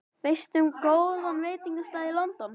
Veistu um góðan veitingastað í London?